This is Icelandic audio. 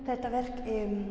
þetta verk